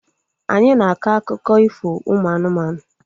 Anyị na-akọ akụkọ ifo ụmụ anụmanụ